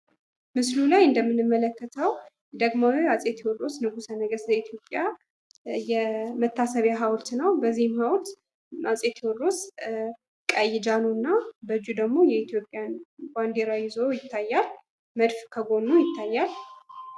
ምስሉ ላይ እንደምንመለከተው ደግሞ አፄ ቴዎድሮስ ንጉሰ ነገስት ዘኢትዮጵያ የመታሰቢያ ሀውልት ነው። በዚህ ሀውልት አፄ ቴዎድሮስ ቀይ ጃን እና በቀኝ እጁ ደግሞ የኢትዮጵያን ባንድራ ይዞ ይታያል። መድፍ ከጎኑ ይታያል።